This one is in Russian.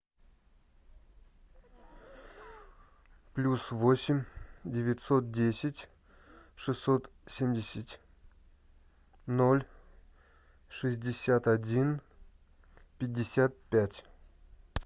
плюс восемь девятьсот десять шестьсот семьдесят ноль шестьдесят один пятьдесят пять